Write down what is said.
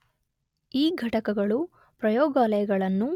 ಈ ಘಟಕಗಳು ಪ್ರಯೋಗಾಲಯಗಳನ್ನು